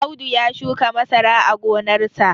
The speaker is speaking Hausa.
Audu ya shuka masara a gonarsa